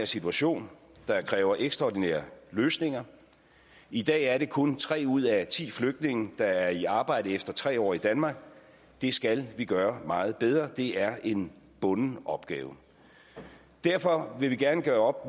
situation der kræver ekstraordinære løsninger i dag er det kun tre ud af ti flygtninge der er i arbejde efter tre år i danmark det skal vi gøre meget bedre det er en bunden opgave derfor vil vi gerne gøre